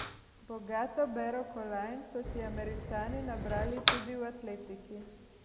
Bogato bero kolajn so si Američani nabrali tudi v atletiki.